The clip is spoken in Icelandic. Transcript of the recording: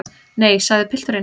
Nei, sagði pilturinn.